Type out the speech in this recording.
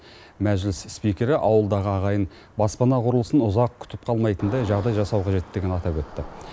мәжіліс спикері ауылдағы ағайын баспана құрылысын ұзақ күтіп қалмайтындай жағдай жасау қажеттігін атап өтті